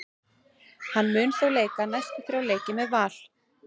Hann mun þó leika næstu þrjá leiki með Val.